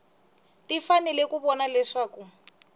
ti fanele ku vona leswaku